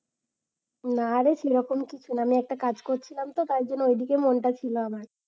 নারে সেরকম কিছুনা আমি একটা কাজ করছিলাম তো, তাই জন্য ওইদিকে মনটা ছিল আমার।